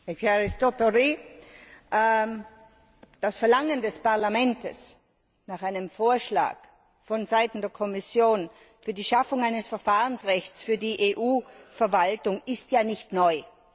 Herr Präsident! Das Verlangen des Parlaments nach einem Vorschlag vonseiten der Kommission für die Schaffung eines Verfahrensrechts für die EU Verwaltung ist ja nicht neu.